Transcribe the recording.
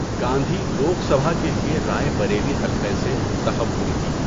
گاندھی لوک سبھا کے لیے رائے بریلی حلقہ سے منتخب ہوئی تھیں۔